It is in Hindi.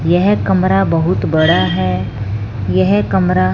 यह कमरा बहुत बड़ा है यह कमरा--